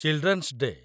children's day